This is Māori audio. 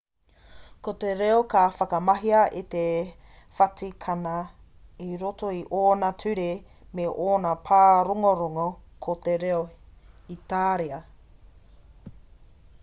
ko te reo ka whakamahia e te whatikana ki roto i ōna ture me ōna pārongorongo ko te reo itāria